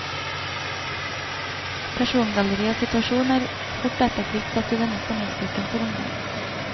Persongalleri og situasjon er fort og effektivt satt i denne spenningsboken for ungdom.